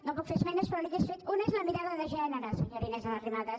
no puc fer esmenes però n’hi hauria fet una és la mirada de gènere senyora inés arrimadas